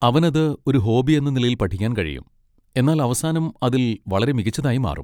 അവനത് ഒരു ഹോബി എന്ന നിലയിൽ പഠിക്കാൻ കഴിയും, എന്നാൽ അവസാനം അതിൽ വളരെ മികച്ചതായി മാറും.